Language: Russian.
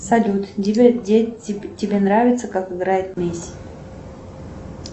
салют тебе нравится как играет месси